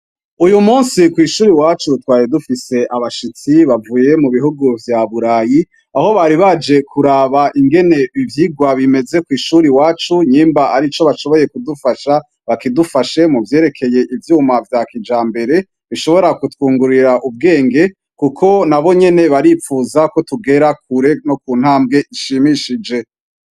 Uyu musi kwishure iwacu twari dufise abashitsi bavuye mubihugu vya burayi aho bari baje kurab ivyirwa ingn bimez kwishure iwacu nyimba arico bashoboye kidufasha bakidufashemwo kuvyerekeye ivyuma vya kijambere bishobora kutwungura ubwenge kuko nabo nyene baripfuza ko tugera kure no kuntambwe ishimishije